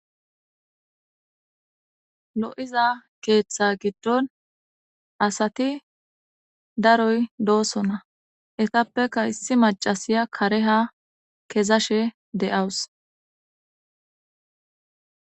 Lo'iza ketha gidon asati daroy dosona etapeka issi macashiya kare ha kezashe de'awus